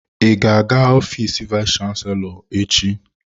Ị ga-aga ofiisi vayis chansilọ echi?